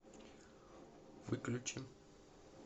выключи